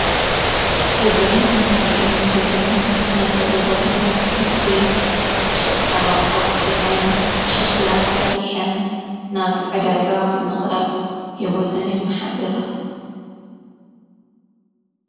እዘን እንርአን ዘለና ስነ ጥበባውያን ኣንስቲ ጭቃ ኣብጕዐን ፤ሽኽላ ሰሪሐን ናብ ዕዳጋ ብምቕራብ ሕይወተን የመሓድራ።